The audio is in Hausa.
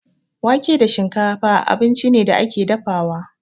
Wake da shinkafa abinci ne da ake dafawa.